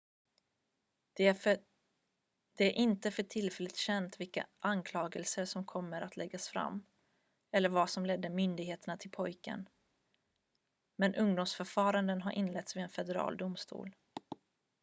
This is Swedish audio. det är inte för tillfället känt vilka anklagelser som kommer att läggas fram eller vad som ledde myndigheterna till pojken men ungdomsförfaranden har inletts vid en federal domstol